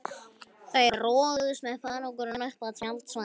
Þau roguðust með farangurinn upp að tjaldstæðinu.